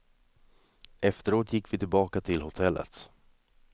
Efteråt gick vi tillbaka till hotellet.